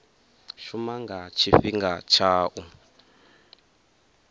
shuma nga tshifhinga tsha u